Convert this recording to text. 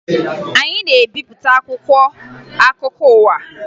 Anyị na-ebipụta akwụkwọ akụkọ ụwa